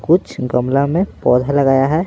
कुछ गमला में पौधा लगाया है।